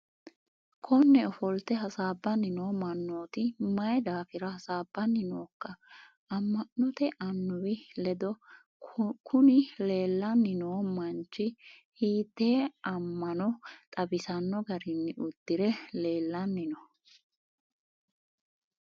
konne ofolte hasaabbanni noo mannooti mayi daafira hasaabbanni nookka amma'note annuwi ledo? kuni leellanni noo manchi hiitee amma'no xawisanno garinni uddire leellani no?